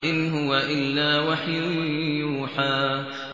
إِنْ هُوَ إِلَّا وَحْيٌ يُوحَىٰ